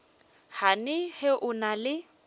gane ge o na le